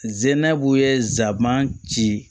Zenerabuye zaaman ci